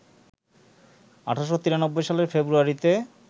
১৮৯৩ সালের ফেব্রুয়ারিতে